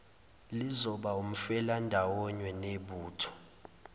lizoba umfelandawonye nebutho